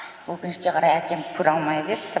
өкінішке қарай әкем көре алмай кетті